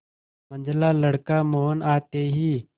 मंझला लड़का मोहन आते ही